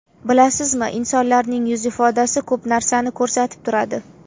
Bilasizmi, insonlarning yuz ifodasi ko‘p narsani ko‘rsatib turadi.